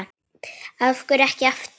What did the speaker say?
Af hverju ekki aftur?